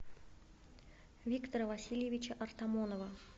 виктора васильевича артамонова